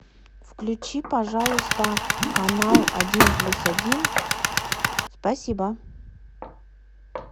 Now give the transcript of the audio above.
включи пожалуйста канал один плюс один спасибо